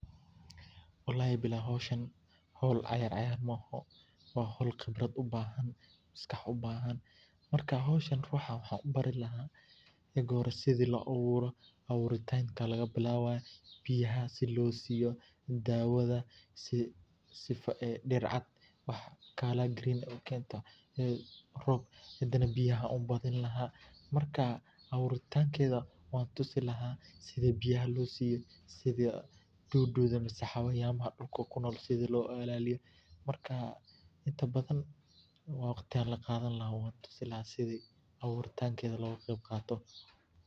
Walahi bilahi howshaani howl ciyaciyar maoxo, wa howl qibrad ubahan maskax ubahan marka howshaan ruxa wahan ubari lahay ega hore sidha loaburo, awuritanka lagabilabaya biyaha si losiyo dawada si diir cad colour green ukento ay roob hadana biyaha ayan ubadini lahaa, marka awuritankedh wan tusi laha sidhi biyaha losiyo sidha dudu mise hawayanyaha dulka kunol sidha logailalini lahaa, marka inta badan wagti ayan lagadhani lahaa wan tusi laha sidhi awutitankedha logagebgato.